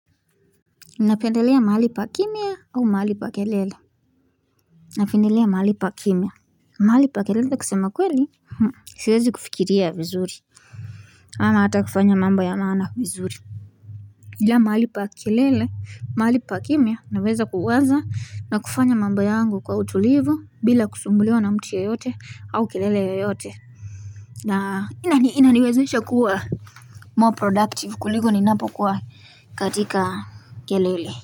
Napindelea mahali pa kimya au mahali pa kelele Napendelea mahali pa kimya mahali pa kelele kusema kweli Siwezi kufikiria vizuri ama ata kufanya mambo ya maana vizuri Ila mahali pa kelele mahali pa kimya naweza kuwaza na kufanya mambo yangu kwa utulivu bila kusumbuliwa na mtu yoyote au kelele yoyote na inani inaniwezesha kuwa More productive kuliko ninapo kuwa katika kelele.